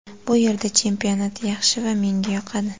Bu yerda chempionat yaxshi va menga yoqadi.